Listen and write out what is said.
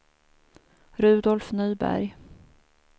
Rudolf Nyberg